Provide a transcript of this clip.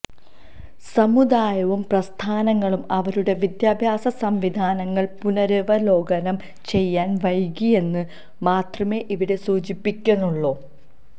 സമുദായവും പ്രസ്ഥാനങ്ങളും അവരുടെ വിദ്യാഭ്യാസ സംവിധാനങ്ങള് പുനരവലോകനം ചെയ്യാന് വൈകി എന്നു മാത്രമേ ഇവിടെ സൂചിപ്പിക്കുന്നുള്ളൂ